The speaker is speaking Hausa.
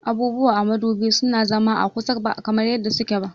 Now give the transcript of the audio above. Abubuwa a modubi suna zama a kusa ba kamar yadda suke ba